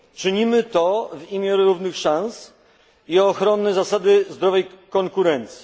Czynimy to w imię równych szans i ochrony zasady zdrowej konkurencji.